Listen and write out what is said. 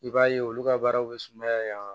I b'a ye olu ka baaraw bɛ sumaya